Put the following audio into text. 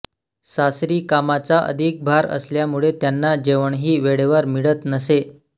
सासरी कामाचा अधिक भार असल्यामुळे त्यांना जेवणही वेळेवर मिळत नसे